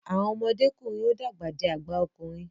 Awọn ọmọdekunrin o dàgbà dì àgbà okùnrin